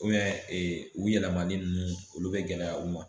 u yɛlɛma nunnu olu bɛ gɛlɛya u ma.